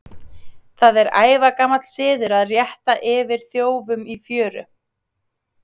Það er ævagamall siður að rétta yfir þjófum í fjöru.